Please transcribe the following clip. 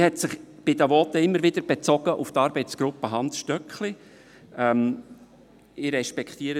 Man hat sich in den Voten immer wieder auf die Arbeitsgruppe Hans Stöckli bezogen.